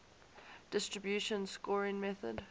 distribution scoring method